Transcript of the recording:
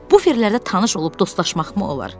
Buferlərdə tanış olub dostlaşmaqmı olar?